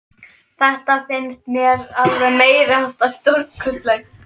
Þetta finnst mér alveg meiriháttar stórkostlegt.